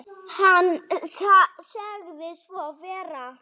Hann sagði svo vera.